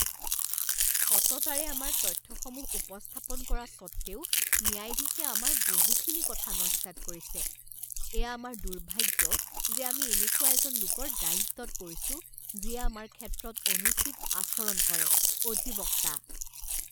সততাৰে আমাৰ তথ্যসমূহ উপস্থাপন কৰাৰ সত্ত্বেও ন্যায়াধীশে আমাৰ বহুখিনি কথা নস্যাৎ কৰিছে। এয়া আমাৰ দুৰ্ভাগ্য যে আমি এনেকুৱা এজন লোকৰ দায়িত্বত পৰিছো যিয়ে আমাৰ ক্ষেত্ৰত অনুচিত আচৰণ কৰে। অধিবক্তা